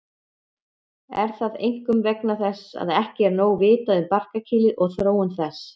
Er það einkum vegna þess að ekki er nóg vitað um barkakýlið og þróun þess.